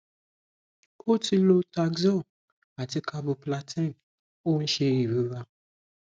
ó ti lo taxol àti carboplatin ó ń ṣe ìrora